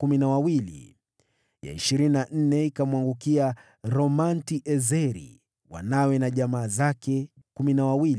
ya ishirini na nne ikamwangukia Romamti-Ezeri, wanawe na jamaa zake, 12. Mabawabu